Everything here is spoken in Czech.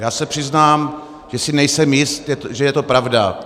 Já se přiznám, že si nejsem jist, že je to pravda.